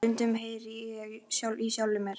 Stundum heyri ég ekki í sjálfum mér.